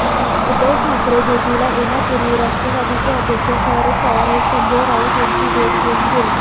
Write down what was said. उद्धव ठाकरे भेटीला येण्यापूर्वी राष्ट्रवादीचे अध्यक्ष शरद पवार हे संजय राऊत यांची भेट घेऊन गेले